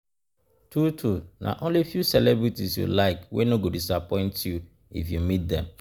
True true, na only few celebrities you like wey no go disappoint you if you meet dem